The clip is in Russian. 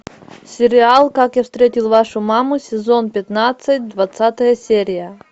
сериал как я встретил вашу маму сезон пятнадцать двадцатая серия